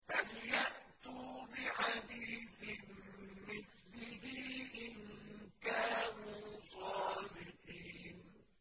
فَلْيَأْتُوا بِحَدِيثٍ مِّثْلِهِ إِن كَانُوا صَادِقِينَ